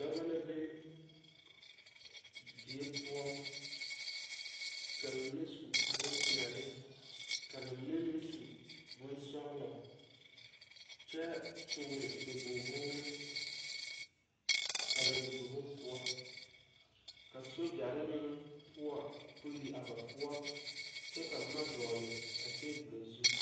Dɔba la be die poɔ ka ba mine su boŋ peɛlɛ ka ba mine meŋ su boŋ sɔglɔ kyɛ tɔɔri nyabog woore a ba nyabogo poɔ ka sogyɛre meŋ poɔ puli a ba poɔ kyɛ ka boma a dɔgle a tabol zu.